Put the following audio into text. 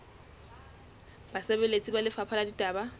basebeletsi ba lefapha la ditaba